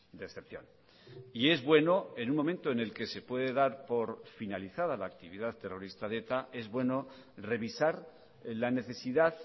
de excepción y es bueno en un momento en el que se puede dar por finalizada la actividad terrorista de eta es bueno revisar la necesidad